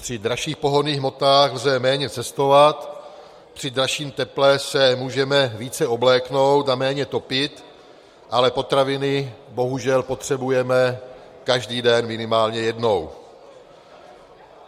Při dražších pohonných hmotách lze méně cestovat, při dražším teple se můžeme více obléknout a méně topit, ale potraviny bohužel potřebujeme každý den minimálně jednou.